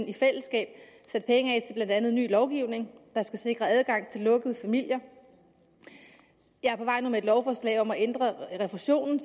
i fællesskab sat penge af til blandt andet ny lovgivning der skal sikre adgang til lukkede familier jeg er på vej nu med et lovforslag om at ændre refusionen